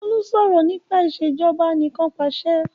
Olú sọ̀rọ̀ nípa Ìṣèjọba Anìkanpàṣẹ